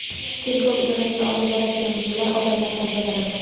Tergov idorasiga olib boradigan yo‘llar odamlardan tozalandi.